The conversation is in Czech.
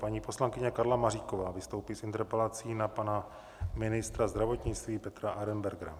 Paní poslankyně Karla Maříková vystoupí s interpelací na pana ministra zdravotnictví Petra Arenbergera.